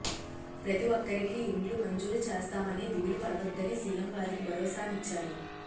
ప్రతి ఒక్కరికీ ఇండ్లు మంజూరు చేస్తామని దిగులు పడవద్దని సీఎం వారికి భరోసానిచ్చారు